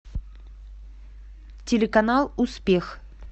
телеканал успех